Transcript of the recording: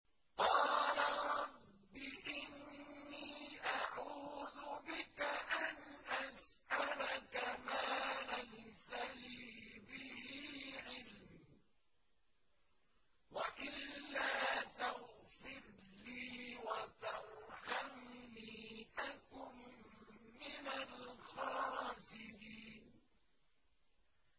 قَالَ رَبِّ إِنِّي أَعُوذُ بِكَ أَنْ أَسْأَلَكَ مَا لَيْسَ لِي بِهِ عِلْمٌ ۖ وَإِلَّا تَغْفِرْ لِي وَتَرْحَمْنِي أَكُن مِّنَ الْخَاسِرِينَ